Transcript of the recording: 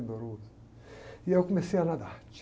E eu comecei a nadar.